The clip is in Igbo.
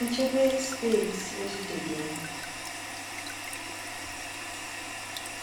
Nchebe Steeti ejideghị m.